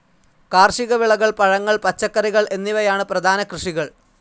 കാർഷിക വിളകൾ പഴങ്ങൾ, പച്ചക്കറികൾ എന്നിവയാണു് പ്രധാന കൃഷികൾ.